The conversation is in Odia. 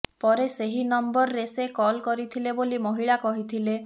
ପରେ ସେହି ନମ୍ବରରେ ସେ କଲ୍ କରିଥିଲେ ବୋଲି ମହିଳା କହିଥିଲେ